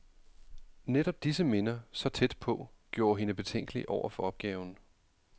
Netop disse minder, så tæt på, gjorde hende betænkelig over for opgaven.